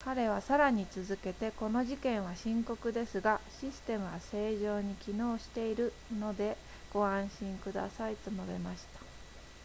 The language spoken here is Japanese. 彼はさらに続けてこの事件は深刻ですがシステムは正常に機能しているのでご安心くださいと述べました